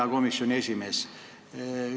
Hea komisjoni esimees!